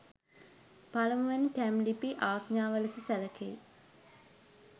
පළමුවැනි ටැම් ලිපි ආඥාව ලෙස සැලකෙයි.